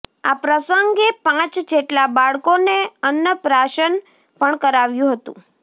આ પ્રસંગે પાંચ જેટલા બાળકોને અન્નપ્રાશન પણ કરાવ્યુ હતુ